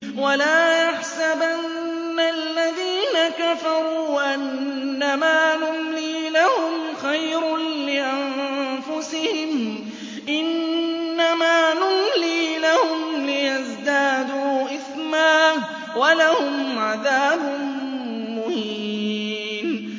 وَلَا يَحْسَبَنَّ الَّذِينَ كَفَرُوا أَنَّمَا نُمْلِي لَهُمْ خَيْرٌ لِّأَنفُسِهِمْ ۚ إِنَّمَا نُمْلِي لَهُمْ لِيَزْدَادُوا إِثْمًا ۚ وَلَهُمْ عَذَابٌ مُّهِينٌ